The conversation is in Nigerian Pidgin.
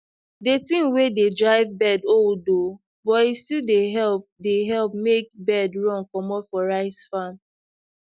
the thing wey de drive bird old oo but e still dey help dey help make bird run comot for rice farm